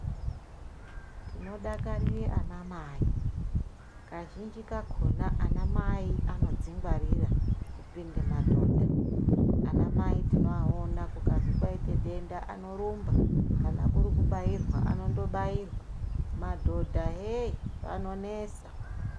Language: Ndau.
Tinodakarire ana mai kazhinji kakona ana mai anodzingwarira kupinda madhodha ana mai tinoaona kukazi kwaite denda anorumba kana kuri kubairwa anondobarirwa madhodha yei anonesa